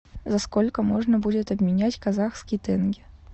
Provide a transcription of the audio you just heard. за сколько можно будет обменять казахский тенге